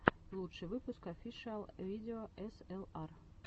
лучший выпуск офишиал видео эсэлар